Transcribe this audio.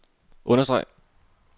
understreg